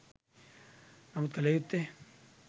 නමුත් කළ යුත්තේ